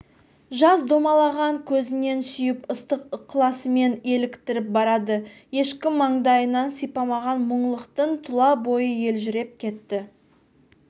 жас домалаған көзінен сүйіп ыстық ықыласымен еліктіріп барады ешкім маңдайынан сипамаған мұңлықтың тұла бойы елжіреп кетті